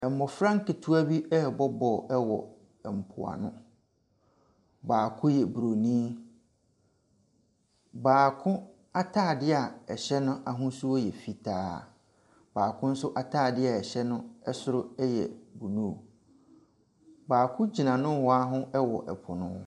Mmɔfra nketewa rebɔ ball wɔ mpoano. Baako yɛ buroni, baako atade a ɛhyɛ no ahosuo yɛ fitaa. Baako nso atade a ɛhyɛ no soro yɛ blue. Baako gyina nohoa hɔ wɔ po no ho.